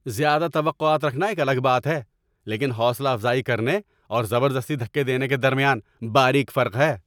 زیادہ توقعات رکھنا ایک الگ بات ہے، لیکن حوصلہ افزائی کرنے اور زبردستی دھکے دینے کے درمیان باریک فرق ہے۔